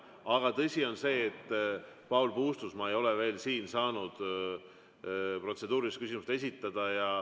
Aga tõsi on see, et Paul Puustusmaa ei ole veel saanud protseduurilist küsimust esitada.